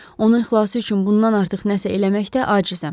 Onun xilası üçün bundan artıq nəsə eləməkdə acizəm.